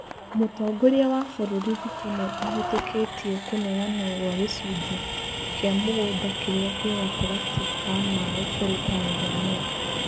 Mũtongoria wa bũrũri Ruto nĩ ahetũkĩtie kũneanwo gwa gĩcunjĩ kĩa mũgunda kĩrĩa kĩ gatagatĩ ka maĩ kũrĩ Tanzania.